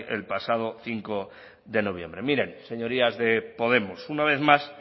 el pasado cinco de noviembre miren señorías de podemos una vez más